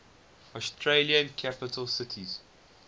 australian capital cities